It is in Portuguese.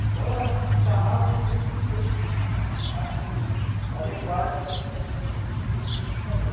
Então as tarrafa tem que ser assim adequada para para para esse tipo de pescaria.